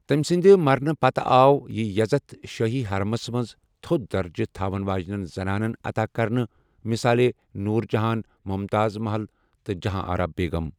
تمہِ سٕنٛدِ مرنہٕ پَتہٕ آو یہِ یزتھ شٲہی حَرمس منٛز تھوٚد درجہٕ تھاون واجِنیٚن زَنانن عطا کرنہٕ مثالے نوُر جَہان، ممتاز محل تہٕ جَہاں آرا بیگم۔